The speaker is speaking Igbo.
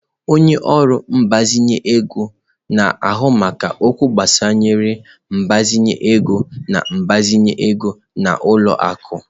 Onye ọrụ mgbazinye ego na-ahụ maka okwu gbasara ịgbazinye ego na ịgbazinye ego n'ụlọ akụ.